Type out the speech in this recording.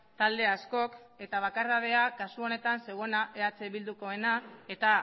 talde askok eta bakardadea kasu honetan zeuena eh bildukoena eta